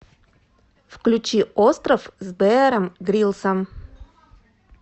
включи остров с беаром гриллсом